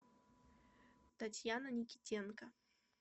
татьяна никитенко